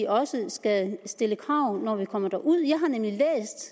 også skal stille krav når vi kommer derud